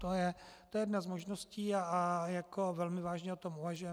To je jedna z možností a velmi vážně o tom uvažujeme.